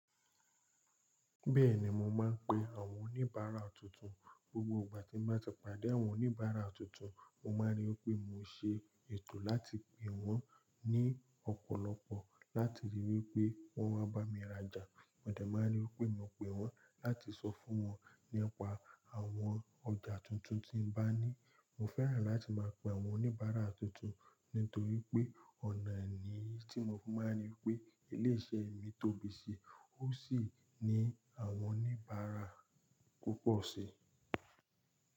Bẹ́ẹ̀ni mo máa ń pe àwọn oníbàárà tuntun. Gbogbo gbà tí n bá ti pàdé àwọn oníbàárà tuntun, mo máa n ri wípé mo se ètò láti pe wọ́n ní ọ̀pọ̀lọpọ̀ láti ríi wípé wọ́n wá bá mi rajà. Mo de máa ń ri wípé mo pè wọ́n láti sọ fún wọn nípa àwọn ọjà tuntun tí n bá ní. Mo fẹ́ràn láti máa pe àwọn oníbàárà tuntun nítorí pé ọ̀nà ni tí mo máa ń ríi wípé ilé iṣẹ́ mi tóbi sí, ó sì ní àwọn oníbàárà púpọ̀ sì.